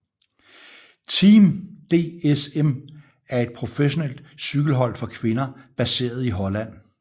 Team DSM er et professionelt cykelhold for kvinder baseret i Holland